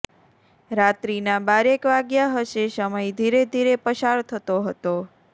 રાત્રિના બારેક વાગ્યા હશે સમય ધીરે ધીરે પસાર થતો હતો